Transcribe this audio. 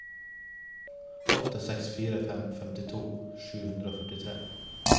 åtte seks fire to femtito sju hundre og førtitre